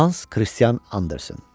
Hans Kristian Anderson.